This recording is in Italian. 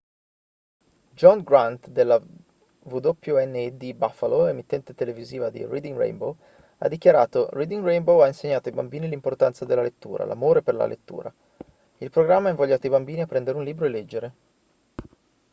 john grant della wned buffalo emittente televisiva di reading rainbow ha dichiarato: reading rainbow ha insegnato ai bambini l'importanza della lettura l'amore per la lettura; [il programma] ha invogliato i bambini a prendere un libro e leggere